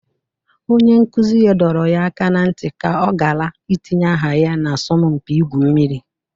Onye nkụzi ha doro ya aka na ntị ka ọ gara itinye aha ya n'asọmpi ịgwụ mmiri